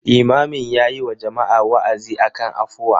Limamin yayi wa jama'a wa'azi akan afuwa.